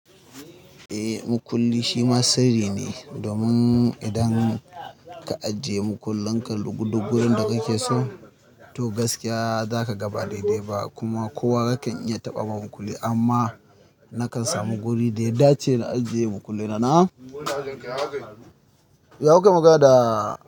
Eh, makulli shi ma sirri ne domin idan ka ajiye makullin ka lugulugu yanda kake so, to gaskiya zakaga ba daidai ba kuma kowa yakan iya taɓa ma makulli. Amma na kan samu guri da ya dace na ajiye makulli na. Na? Ya kukai magana da.